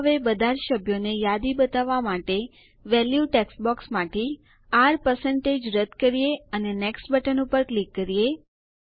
ચાલો હવે બધાજ સભ્યોને યાદી બતાવવા માટે વેલ્યુ ટેક્સ્ટ બોક્સમાંથી R રદ્દ કરીએ અને નેક્સ્ટ બટન ઉપર ક્લિક કરીએ